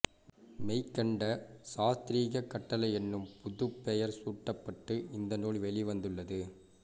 மெய்கண்ட சாத்திரக் கட்டளை என்னும் புதுப்பெயர் சூட்டப்பட்டு இந்த நூல் வெளிவந்துள்ளது